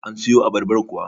an siyo abarbar kuwa?